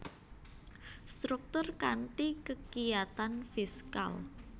Struktur kanthi kekiyatan fiskal